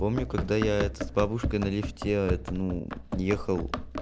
помню когда я этот бабушкой на лифте это ну ехал